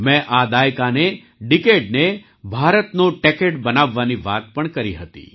મેં આ દાયકાનેડીકેડને ભારતનો ટૅકેડ બનાવવાની વાત પણ કરી હતી